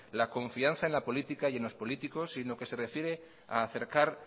la confianza en la política y en los políticos y en lo que se refiere a acercar